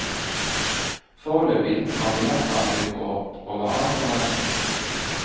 Foreløpig har billettsalget gått over all forventning.